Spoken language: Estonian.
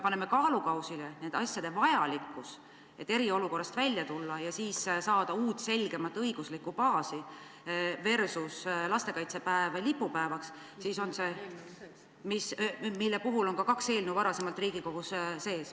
Paneme kaalukausile nende asjade vajalikkuse: et eriolukorrast välja tulla ja saada uut selgemat õiguslikku baasi versus lastekaitsepäev lipupäevaks ...... mille kohta on kaks eelnõu juba varem Riigikogus.